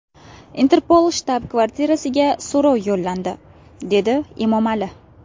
Interpol shtab-kvartirasiga so‘rov yo‘llandi”, dedi Emomali.